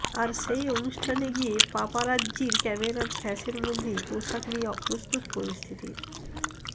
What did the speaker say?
আর সেই অনুষ্ঠানে গিয়ে পাপারাজ্জির ক্যামেরার ফ্ল্যাশের মধ্যেই পোশাক নিয়ে অপ্রস্তুত পরিস্থিতির